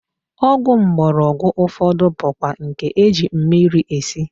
Ọgwụ mgbọrọgwụ ụfọdụ bụkwa nke e ji mmiri esi